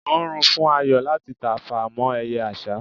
o rùn fún Ayo láti tafà mọ eye àsá